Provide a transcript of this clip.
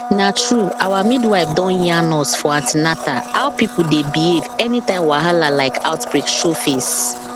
na true our midwife don yarn us for an ten atal how people dey behave anytime wahala like outbreak show face